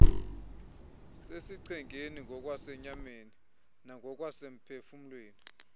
sesichengeni ngokwasenyameni nangokwasemphefumlweni